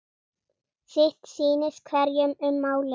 Sitt sýnist hverjum um málið.